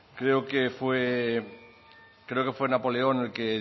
creo que fue napoleón el que